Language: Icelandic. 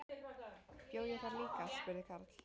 Bjó ég þar líka? spurði Karl.